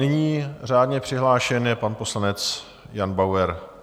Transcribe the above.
Nyní řádně přihlášen je pan poslanec Jan Bauer.